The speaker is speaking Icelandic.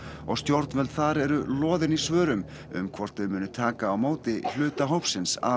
og stjórnvöld þar eru loðin í svörum um hvort þau muni taka á móti hluta hópsins af